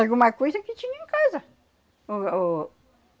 Alguma coisa que tinha em casa. O, o